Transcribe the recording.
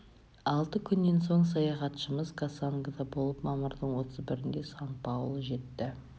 алты күннен соң саяхатшымыз кассангода болып мамырдың отыз бірінде сан-паоло жетті